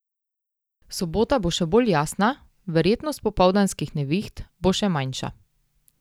Sobota bo še bolj jasna, verjetnost popoldanskih neviht bo še manjša.